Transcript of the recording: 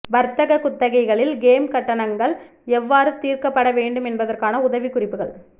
வர்த்தக குத்தகைகளில் கேம் கட்டணங்கள் எவ்வாறு தீர்க்கப்பட வேண்டும் என்பதற்கான உதவிக்குறிப்புகள்